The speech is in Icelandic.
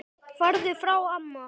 Farðu frá amma!